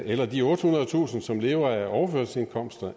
eller de ottehundredetusind som lever af overførselsindkomster